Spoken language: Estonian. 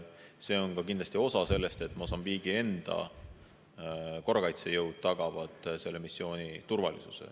See on ka kindlasti osa sellest, et Mosambiigi enda korrakaitsejõud tagavad selle missiooni turvalisuse.